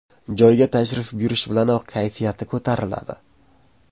Joyga tashrif buyurishi bilanoq kayfiyati ko‘tariladi.